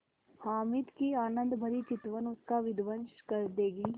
हामिद की आनंदभरी चितवन उसका विध्वंस कर देगी